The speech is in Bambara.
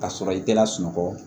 Ka sɔrɔ i tɛ lasunɔgɔ